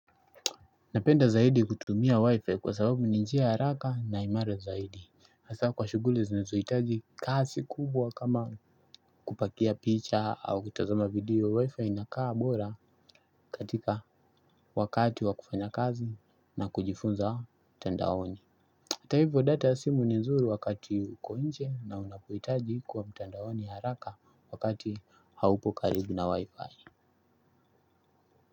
Napenda zaidi kutumia wifi kwa sababu ni njia haraka na imara zaidi. Hasa kwa shughuli zinazohitaji kasi kubwa kama kupakia picha au kutazama video wifi inakaa bora katika wakati wa kufanya kazi na kujifunza mtandaoni. Hata hivyo data ya simu ni nzuri wakati uko nje na unapohitaji kuwa mtandaoni haraka wakati haupo karibu na wifi.